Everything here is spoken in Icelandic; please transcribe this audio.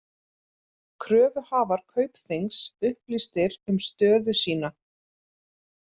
Kröfuhafar Kaupþings upplýstir um stöðu sína